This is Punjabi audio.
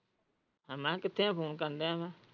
ਮੈਂ ਕਿੱਥੇ ਹੈ ਮੈਂ ਫੋਨ ਕਰਨ ਡਯਾ ਵਾ?